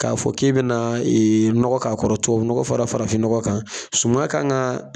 K'a fɔ k'e bɛna nɔgɔ k'a kɔrɔ tubabu nɔnɔ fara farafin nɔgɔ kan suman kan ka